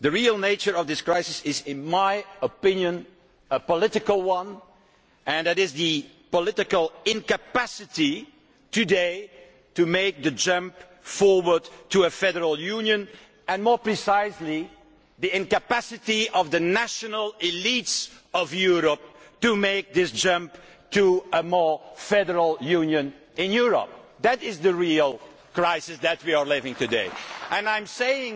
The real nature of this crisis is a political one and that is the political incapacity today to make the jump forward to a federal union and, more precisely, the incapacity of the national elites of Europe to make this jump to a more federal union in Europe. That is the real crisis we are going through today.